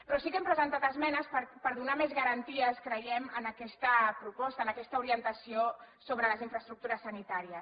però sí que hem presentat esmenes per donar més garanties creiem a aquesta proposta a aquesta orientació sobre les infraestructures sanitàries